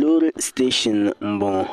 loori siteeshin m-bɔŋɔ